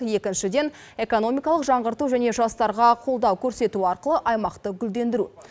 екіншіден экономикалық жаңғырту және жастарға қолдау көрсету арқылы аймақты гүлдендіру